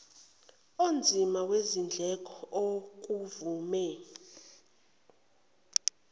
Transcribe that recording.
onzima wezindleko okuvame